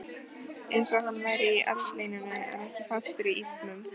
Einsog hann væri í eldlínunni en ekki fastur í ísnum.